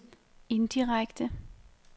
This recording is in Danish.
indirekte